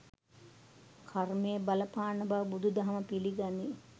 කර්මය බලපාන බව බුදු දහම පිළිගනී.